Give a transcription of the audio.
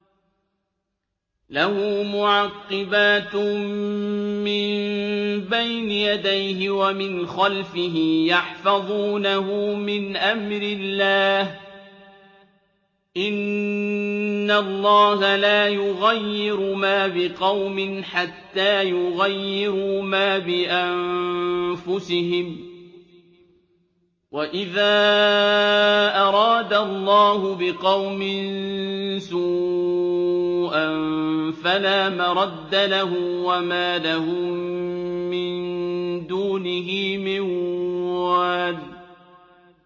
لَهُ مُعَقِّبَاتٌ مِّن بَيْنِ يَدَيْهِ وَمِنْ خَلْفِهِ يَحْفَظُونَهُ مِنْ أَمْرِ اللَّهِ ۗ إِنَّ اللَّهَ لَا يُغَيِّرُ مَا بِقَوْمٍ حَتَّىٰ يُغَيِّرُوا مَا بِأَنفُسِهِمْ ۗ وَإِذَا أَرَادَ اللَّهُ بِقَوْمٍ سُوءًا فَلَا مَرَدَّ لَهُ ۚ وَمَا لَهُم مِّن دُونِهِ مِن وَالٍ